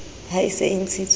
ha e se e ntshitswe